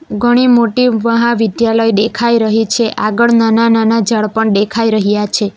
ઘણી મોટી મહાવિદ્યાલય દેખાઈ રહી છે આગળ નાના-નાના ઝાડ પણ દેખાઈ રહ્યા છે.